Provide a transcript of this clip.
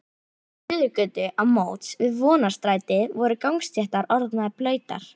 Í Suðurgötu á móts við Vonarstræti voru gangstéttir orðnar blautar.